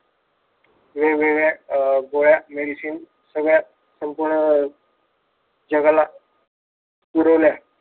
वेगवेगळ्या अह गोळ्या मेडिसिन संपूर्ण जगाला पुरवल्या.